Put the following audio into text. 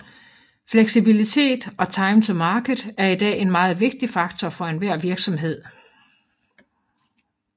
Fleksibilitet og time to market er i dag en meget vigtig faktor for enhver virksomhed